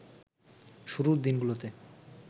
শুরুর দিনগুলোতে